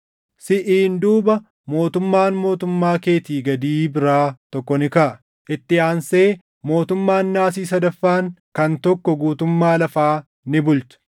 “Siʼiin duuba mootummaan mootummaa keetii gadii biraa tokko ni kaʼa. Itti aansee mootummaan Naasii sadaffaan kan tokko guutummaa lafaa ni bulcha.